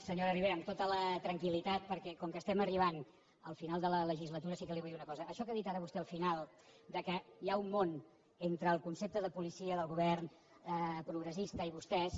senyora ribera amb tota la tranquil·litat perquè com que estem arribant al final de la legislatura sí que li vull dir una cosa això que ha dit ara vostè al final que hi ha un món entre el concepte de policia del govern progressista i vostès